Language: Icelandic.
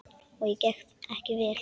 Og gekk það ekki vel.